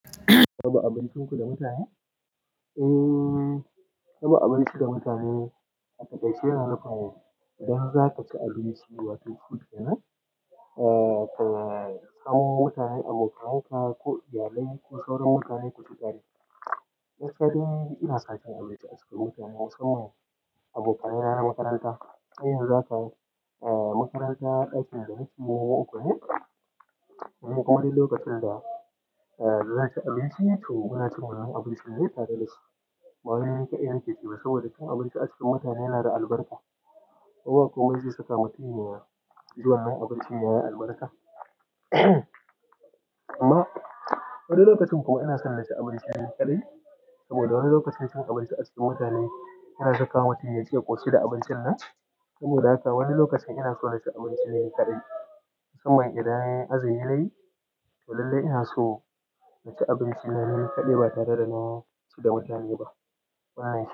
Raba abincin ku da mutane? Eee, raba abinci da mutane a taƙaice yana nufin idan za ka ci abinci wato food kenan, eh, ka samo mutane, abokananka ko iyalai ko sauran mutane ku ci tare. Na ƙaɗai ina son cin abinci a cikin mutane musamman abokaina na makaranta. Sai yanzu za ka, eh, makaranta ɗakin da nake mu uku ne. Wani lokacin da, eh, za ka ci abinci to kuna cikin wani abinci mai tararanci. Wannan ƙai'iyan ke cewa saboda ka amince a cikin mutane yana da albarka. Ko ba komai zai saka mutum ya ji wannan abincin yayi albarka. Amma wani lokacin kuma ina son na ci abinci ni ƙaɗai saboda wani lokacin cin abinci a cikin mutane yana saka mutum ya ji ya ƙoshi da abincin nan. Saboda haka wani lokacin ina so na ci abinci ni ƙaɗai. Musamman idan azumi nayi to lallai ina so na ci abinci na ni ƙaɗai ba tare da na ci da mutane ba. Wannan.